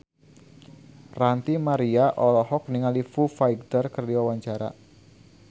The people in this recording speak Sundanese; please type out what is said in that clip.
Ranty Maria olohok ningali Foo Fighter keur diwawancara